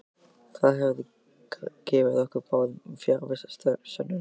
Það hefði gefið ykkur báðum fjarvistarsönnun.